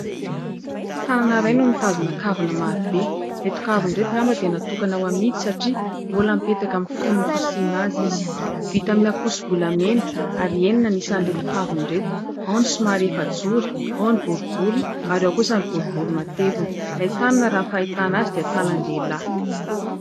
Tanana iray no mitazona kavina maro be. Ireto kavina ireto angamba dia natokana ho amidy satria mbola mipetaka amin'ny fonony fasiana azy izy. Vita amin'ny ankoso-bolamena ary enina ny isan'ireto kavina ireto. Ao ny somary efajoro, ao ny boribory ary ao kosa ny boribory matevina. Ilay tanana raha ny fahitana azy dia tanan-dehilahy.